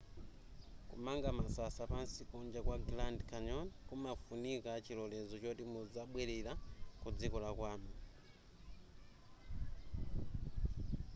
kumanga masasa pansi kunja kwa grand canyon kumafunika chilolezo choti muzabwelera ku dziko lanu